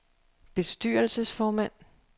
bestyrelsesformand